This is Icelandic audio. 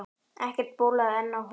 Ekkert bólaði enn á honum.